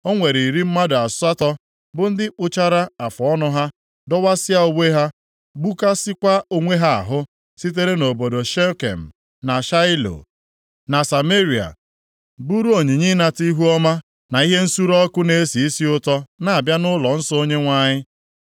o nwere iri mmadụ asatọ, bụ ndị kpụchara afụọnụ ha, dọwasịa uwe ha, gbukasịakwa onwe ha ahụ, sitere nʼobodo Shekem, na Shaịlo na Sameria buuru onyinye ịnata ihuọma, na ihe nsure ọkụ na-esi isi ụtọ na-abịa nʼụlọnsọ Onyenwe anyị.